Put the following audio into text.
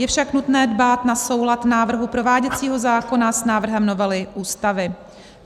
Je však nutné dbát na soulad návrhu prováděcího zákona s návrhem novely Ústavy;